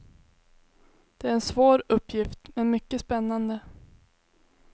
Det är en svår uppgift men mycket spännande.